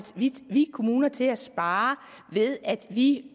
kommuner kommer til at spare ved at de